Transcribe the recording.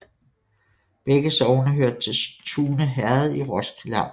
Begge sogne hørte til Tune Herred i Roskilde Amt